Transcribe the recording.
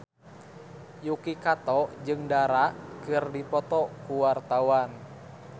Yuki Kato jeung Dara keur dipoto ku wartawan